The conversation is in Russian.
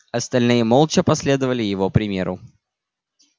остальные молча последовали его примеру